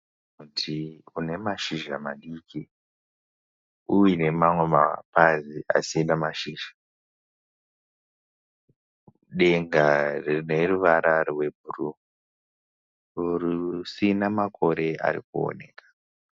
Muti une mashizha madiki uine mamwe mapazi asina mashizha. Denga rine ruvara rwebhuruu uru risina makore arikuoneka